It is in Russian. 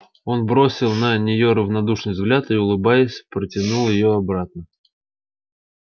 он бросил на нее равнодушный взгляд и улыбаясь протянул её обратно